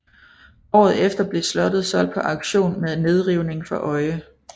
Året efter blev slottet solgt på auktion med nedrivning for øje